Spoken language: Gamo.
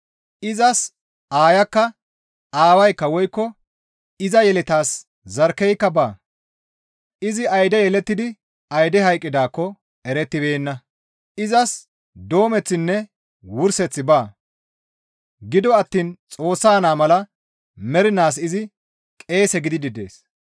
Izas aayakka, aawaykka woykko iza yeletaas zarkkeyka baa; izi ayde yelettidi ayde hayqqidaakko erettibeenna; izas doomeththinne wurseththi baa; gido attiin Xoossa naa mala mernaas izi qeese gididi dees.